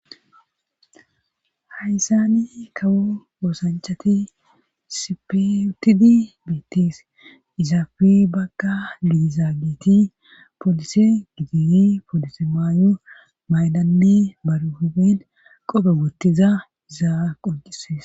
Hayssani kawo oosanchati sipeyutidi beettis izaafe bagga gidizaa giti poolise giditi poolise maayu maylanne baruhibin qope gottiza zaa qoncises